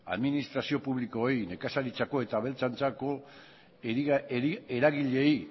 administrazio publikoei nekazaritzako eta abeltzaintzako eragileei